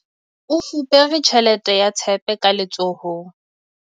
O fupere tjhelete ya tshepe ka letsohong.